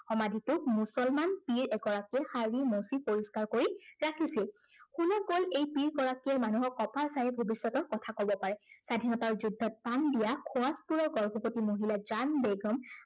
সমাধিটোক মুছলমান পীড় এগৰাকীয়ে সাৰি মুঁচি পৰিস্কাৰ কৰি ৰাখিছিল। কোনোৱে কয়, এই পীড়গৰাকীয়ে মানুহৰ কঁপাল চাইয়েই ভৱিষ্য়তৰ কথা কব পাৰে। স্বাধীনতাৰ যুদ্ধত প্ৰাণ দিয়া সোৱাগপুৰৰ গৰ্ভৱতী মহিলা জান বেগম